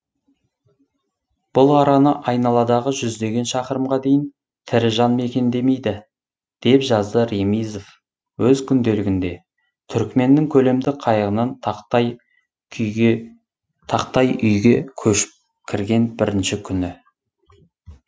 бұл араны айналадағы жүздеген шақырымға дейін тірі жан мекендемейді деп жазды ремизов өз күнделігінде түрікменнің көлемді қайығынан тақтай үйге көшіп кірген бірінші күні